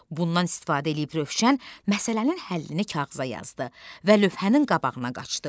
Bundan istifadə eləyib Rövşən məsələnin həllini kağıza yazdı və lövhənin qabağına qaçdı.